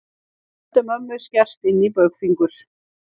Öldu mömmu skerst inní baugfingur.